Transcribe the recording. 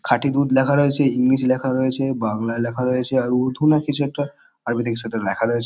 খাঁটি দুধ লেখা রয়েছে। ইংরিজি লেখা রয়েছে বাংলায় লেখা রয়েছে আর উর্ধু না কিছু একটা আরবিতে কিছু একটা লেখা রয়েছ--